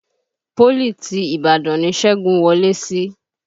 Pólì ti Ìbàdàn ni Ṣẹ́gun wọ lé sí